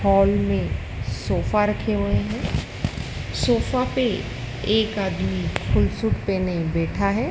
Hall में sofa रखे हुए हैं सोफा पे एक आदमी फुल सूट पहने बैठा है।